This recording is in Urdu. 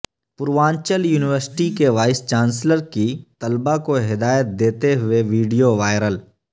پوروانچل یونیورسٹی کے وائس چانسلر کی طلبہ کوہدایت دیتے ہوئے ویڈیووائرل